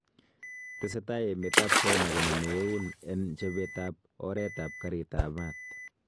Tesetai emet ab China konaame euun en chobeet ab oreet ab kariit ab maat.